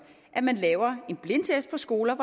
at man laver en blindtest på skoler